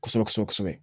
Kosɛbɛ kosɛbɛ kosɛbɛ